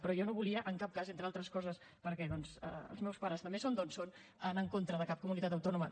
però jo no volia en cap cas entre altres coses perquè doncs els meus pares també són d’on són anar en contra de cap comunitat autònoma